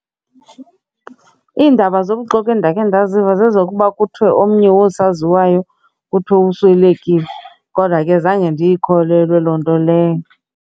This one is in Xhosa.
Iindaba zobuxoki endakhe ndaziva zezokuba kuthiwe omnye wosaziwayo kuthiwe uswelekile kodwa ke zange ndiyikholelwa loo nto leyo.